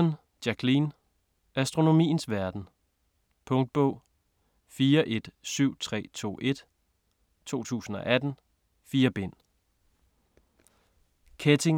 Mitton, Jacqueline: Astronomiens verden Punktbog 417321 2018. 4 bind.